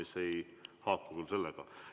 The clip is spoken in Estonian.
See ei haaku teemaga.